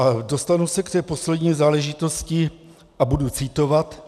A dostanu se k té poslední záležitosti a budu citovat.